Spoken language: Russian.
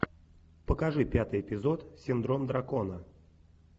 покажи пятый эпизод синдром дракона